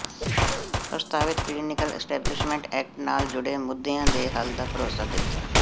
ਪ੍ਰਸਤਾਵਿਤ clinical establishment act ਨਾਲ ਜੁੜੇ ਮੁੱਦਿਆਂ ਦੇ ਹੱਲ ਦਾ ਭਰੋਸਾ ਦਿੱਤਾ